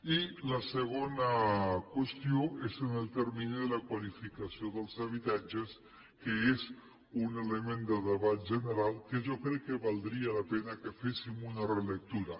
i la segona qüestió és en el termini de la qualificació dels habitatges que és un element de debat general que jo crec que valdria la pena que en féssim una relectura